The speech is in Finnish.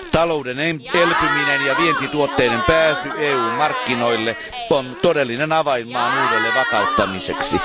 Talouden elpyminen ja vientituotteiden pääsy EU markkinoille on todellinen avain maan uudelleenvakauttamiseksi.